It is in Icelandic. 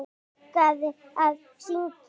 Hún elskaði að syngja.